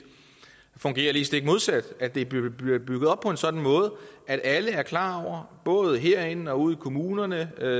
fungerer lige stik modsat at det blev bygget bygget op på en sådan måde at alle er klar over både herinde og ude i kommunerne og